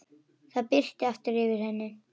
Það birti aftur yfir henni.